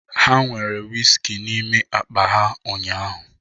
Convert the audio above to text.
Ha nwere whiskey n'ime akpa ha ụnyahụ